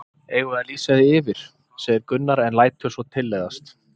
Eigum við að lýsa því yfir? segir Gunnar en lætur svo tilleiðast.